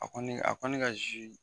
A kɔni a ko ne ka